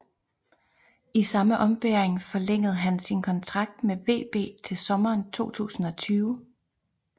I samme ombæring forlængede han sin kontrakt med VB til sommeren 2020